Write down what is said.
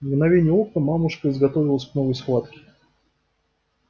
в мгновение ока мамушка изготовилась к новой схватке